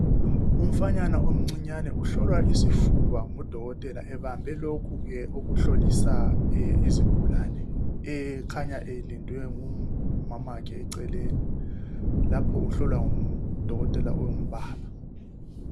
Umfanyana omncinyane uhlolwa isifuba ngudokotela ebambe lokhu ke okuhlolisa izigulane ekhanya elindwe ngumamakhe eceleni lapho uhlolwa ngudokotela ongubaba.